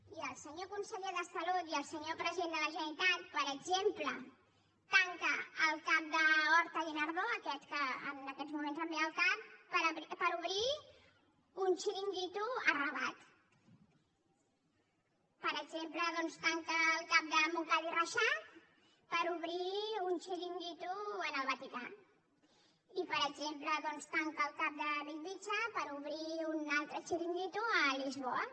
i el senyor conseller de salut i el senyor president de la generalitat per exemple tanquen el cap d’hortaguinardó aquest que en aquests moments em ve al cap per obrir un xiringuito a rabat per exemple doncs tanca el cap de montcada i reixac per obrir un xiringuito en el vaticà i per exemple doncs tanca el cap de bellvitge per obrir un altre xiringuito a lisboa